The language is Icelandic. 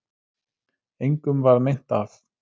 Engum varð meint af